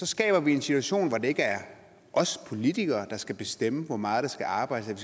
skaber vi en situation hvor det ikke er os politikere der skal bestemme hvor meget der skal arbejdes at